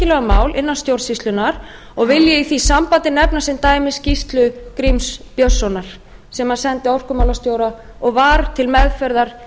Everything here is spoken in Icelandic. innan stjórnsýslunnar og vil ég í því sambandi nefna sem dæmi skýrslu gríms björnssonar sem hann sendi orkumálastjóra og var til meðferðar